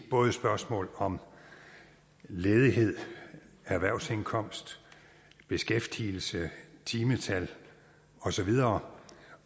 både spørgsmål om ledighed erhvervsindkomst beskæftigelse timetal og så videre